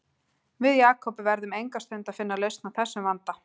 Við Jakob verðum enga stund að finna lausn á þessum vanda